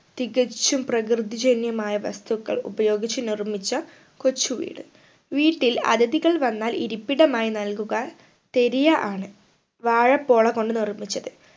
തികച്ചും പ്രകൃതി ജനിയമായ വസ്തുക്കൾ ഉപയോഗിച്ച് നിർമിച്ച കൊച്ചു വീട് വീട്ടിൽ അതിഥികൾ വന്നാൽ ഇരിപ്പിടമായി നൽകുക തെരിയ ആണ് വാഴപ്പോള കൊണ്ട് നിർമിച്ചത്